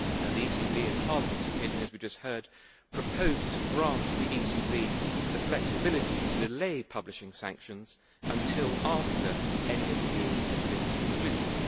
The ECB and Parliament's opinion, as we just heard, proposed to grant the ECB the flexibility to delay publishing sanctions until after any appeal has been concluded.